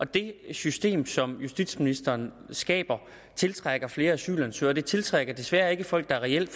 det system som justitsministeren skaber tiltrækker flere asylansøgere og det tiltrækker desværre ikke folk der reelt